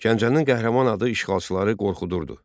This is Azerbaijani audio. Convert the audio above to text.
Gəncənin qəhrəman adı işğalçıları qorxudurdu.